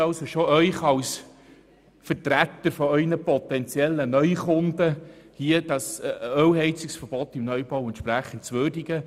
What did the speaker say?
Als Vertreter Ihrer potenziellen Neukunden möchte ich Sie wirklich bitten, das Verbot von Ölheizungen in Neubauten entsprechend zu würdigen.